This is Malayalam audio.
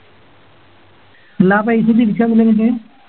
അല്ല ആ പൈസ തിരിച്ച് തന്നില്ല എന്നിട്ട്